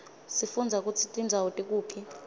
sifundza kutsi tindzawo tikuphi